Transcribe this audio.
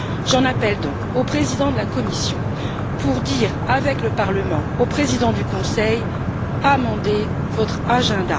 J'en appelle donc au président de la Commission pour dire, avec le Parlement, au président du Conseil Amendez votre programme!.